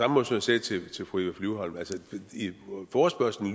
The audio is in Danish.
også sagde til fru eva flyvholm